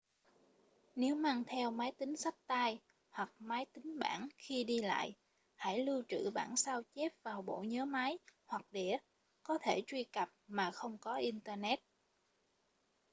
nếu mang theo máy tính xách tay hoặc máy tính bảng khi đi lại hãy lưu trữ bản sao chép vào bộ nhớ máy hoặc đĩa có thể truy cập mà không có internet